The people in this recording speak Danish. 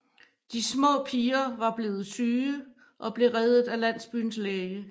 De små piger var blevet syge og blev reddet af landsbyens læge